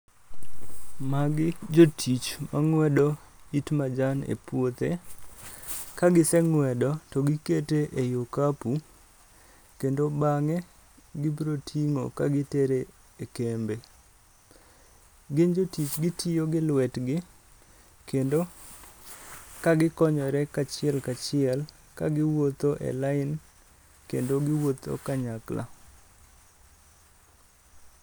Magi jotich mang'wedo it majan e puothe. Bang' kagiseng'wedo, togikete ei okapu, kendo bang'e gibro ting'o kagitero e kembe. Gin jotich gitiyo gi lwetgi, kendo ka gikonyore kachiel kachiel kagiwuotho e lain kendo giwuotho kanyakla.